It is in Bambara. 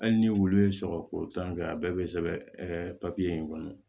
Hali ni wulu ye sɔgɔko tan kɛ a bɛɛ bɛ sɛbɛn papiye in kɔnɔ